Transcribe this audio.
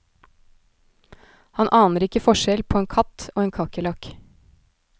Han aner ikke forskjell på en katt og en kakerlakk.